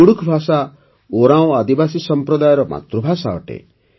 କୁଡ଼ୁଖ୍ ଭାଷା ଓରାଓଁ ଆଦିବାସୀ ସମ୍ପ୍ରଦାୟର ମାତୃଭାଷା ଅଟେ